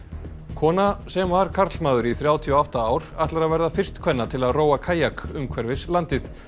kona sem var karlmaður í þrjátíu og átta ár ætlar að verða fyrst kvenna til að róa kajak umhverfis landið